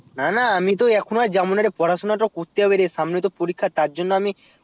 না না আমি তো এখন আর যাবোনা রে পড়া সোনা তো করতে হবে রে সামনে তো পরীক্ষা তার জন্যে আমি